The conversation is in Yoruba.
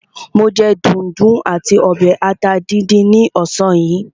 Mo jẹ dùndún àti ọbẹ̀ ata díndín ní ọ̀sán yìí.